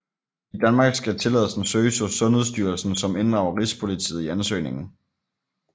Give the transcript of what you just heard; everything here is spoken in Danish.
I Danmark skal tilladelsen søges hos Sundhedsstyrelsen som inddrager Rigspolitiet i ansøgningen